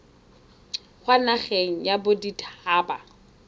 kwa nageng ya bodit haba